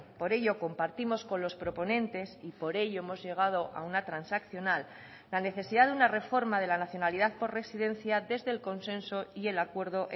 por ello compartimos con los proponentes y por ello hemos llegado a una transaccional la necesidad de una reforma de la nacionalidad por residencia desde el consenso y el acuerdo